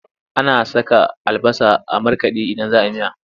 Ana saka albasa a markaɗe idan za a yi miya.